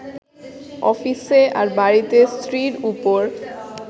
অফিসে, আর বাড়িতে স্ত্রীর ওপর